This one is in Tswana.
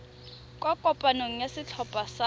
kwa kopanong ya setlhopha sa